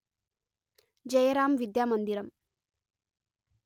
జయరాం విద్యా మందిరం